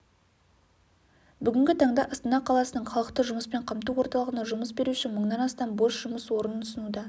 бүгінгі таңда астана қаласының халықты жұмыспен қамту орталығына жұмыс беруші мыңнан астам бос жұмыс орнын ұсынуда